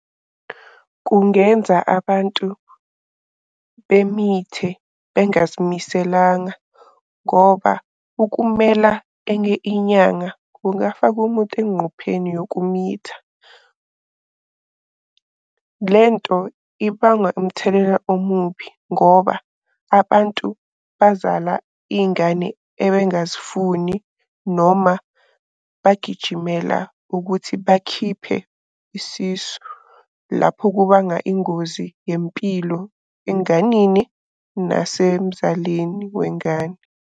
Kungenza abantu bemithe bengazimiselanga ngoba ukumela enye inyanga kungafaka umuntu engqupheni yokumitha. Lento ibangwa umthelela omubi ngoba abantu bazala iy'ngane ebengazifuni noma bagijimela ukuthi bakhiphe isisu. Lapho kubanga ingozi yempilo enganini, nasemzalini wengane.